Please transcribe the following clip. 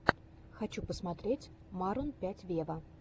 хочу посмотреть марун пять вево